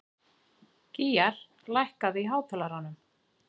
Gýgjar, lækkaðu í hátalaranum.